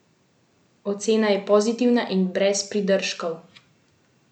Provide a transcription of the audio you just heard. Ocena je pozitivna in brez pridržkov.